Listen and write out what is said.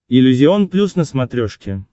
иллюзион плюс на смотрешке